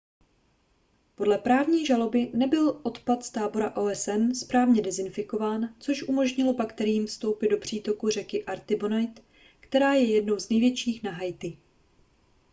podle právní žaloby nebyl odpad z tábora osn správně dezinfikován což umožnilo bakteriím vstoupit do přítoku řeky artibonite která je jednou z největších na haiti